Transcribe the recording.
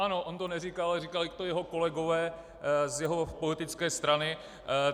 Ano, on to neříkal, ale říkali to jeho kolegové z jeho politické strany.